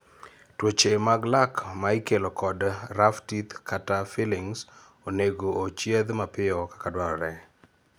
Tuoche mag lak ma ikelo kod; rough teeth kata fillings onego ochiedh mapiyo kaka dwarore